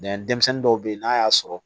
denmisɛnnin dɔw bɛ yen n'a y'a sɔrɔ